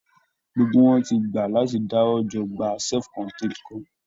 Gbogbo wọn ti gbà láti dáwójọ gba self contained kan